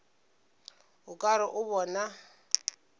o ka re o bona